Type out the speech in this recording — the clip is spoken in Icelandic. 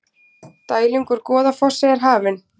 Dæling úr Goðafossi hafin